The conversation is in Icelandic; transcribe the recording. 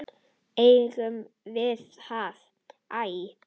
Eigum við ekki að æja?